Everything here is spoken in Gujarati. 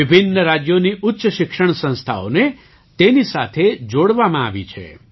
વિભિન્ન રાજ્યોની ઉચ્ચ શિક્ષણ સંસ્થાઓને તેની સાથે જોડવામાં આવી છે